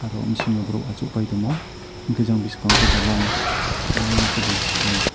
aro om sio vorok achuk pai tamo enke Jang bwskango bw line lio ke bo.